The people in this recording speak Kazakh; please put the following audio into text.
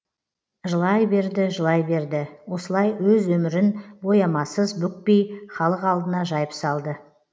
жылай берді жылай берді осылай өз өмірін боямасыз бүкпей халық алдына жайып салды